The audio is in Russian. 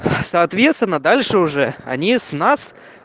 соответственно дальше уже они с нас